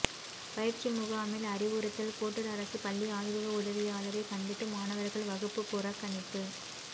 பயிற்சி முகாமில் அறிவுறுத்தல் கோட்டூர் அரசு பள்ளி ஆய்வக உதவியாளரை கண்டித்து மாணவர்கள் வகுப்பு புறக்கணிப்பு